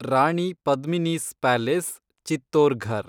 Rani Padmini's palace (Chittorgarh)